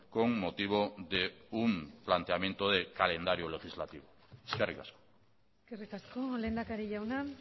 con motivo de un planteamiento de calendario legislativo eskerrik asko eskerrik asko lehendakari jauna